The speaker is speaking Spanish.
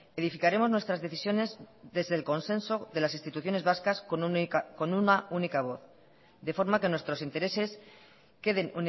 edificaremos nuestras decisiones desde el consenso de las instituciones vascas con una única voz de forma que nuestros intereses queden